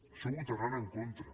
això hi votaran en contra